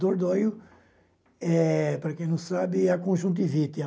Dordóio, eh para quem não sabe, é a conjuntivite.